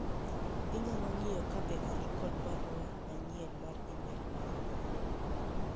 inyalo ng'iyo kabe an kod barua manyien mar email moro amora